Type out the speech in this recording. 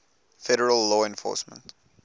federal law enforcement